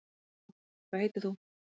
halló hvað heitir þú